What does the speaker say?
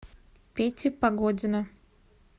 пети погодина